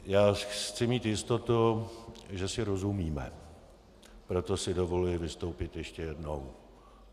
Já chci mít jistotu, že si rozumíme, proto si dovoluji vystoupit ještě jednou.